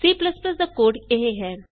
C ਦਾ code ਇਹ ਹੈ